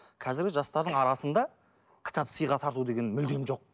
қазіргі жастардың арасында кітап сыйға тарту деген мүлдем жоқ